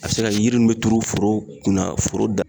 A be se ka yiri nuw be turu foro kun na foro da